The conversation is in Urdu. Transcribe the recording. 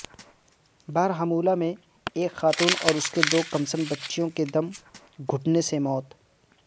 بارہمولہ میں ایک خاتون اور اس کی دو کمسن بچیوں کی دم گھٹنے سے موت